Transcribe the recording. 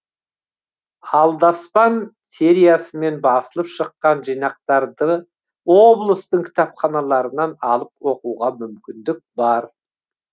алдаспан сериясымен басылып шыққан жинақтарды облыстың кітапханаларынан алып оқуға мүмкіндік бар